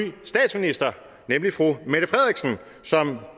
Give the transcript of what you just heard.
statsminister nemlig fru mette frederiksen som